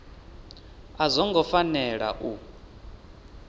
a zwo ngo fanela u